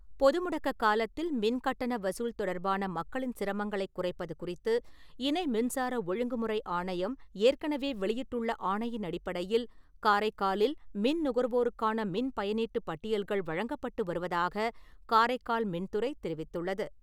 பொது முடக்க காலத்தில் மின் கட்டண வசூல் தொடர்பான மக்களின் சிரமங்களை குறைப்பது குறித்து இணை மின்சார ஒழுங்குமுறை ஆணையம் ஏற்கனவே வெளியிட்டுள்ள ஆணையின் அடிப்படையில் காரைக்காலில் மின் நுகர்வோருக்கான மின் பயனீட்டு பட்டியல்கள் வழங்கப்பட்டு வருவதாக காரைக்கால் மின்துறை தெரிவித்துள்ளது.